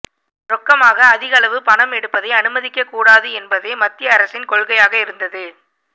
ரொக்கமாக அதிகளவு பணம் எடுப்பதை அனுமதிக்க கூடாது என்பதே மத்திய அரசின் கொள்கையாக இருந்தது